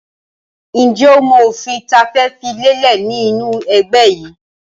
Ǹjẹ́ o mọ òfin tí a fẹ́ fi lélẹ̀ ni inu ẹgbẹ́ yìí?